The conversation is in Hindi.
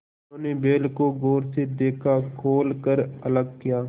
उन्होंने बैल को गौर से देखा खोल कर अलग किया